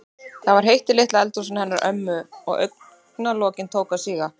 Það var heitt í litla eldhúsinu hennar ömmu og augna- lokin tóku að síga.